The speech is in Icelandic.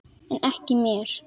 En ekki mér.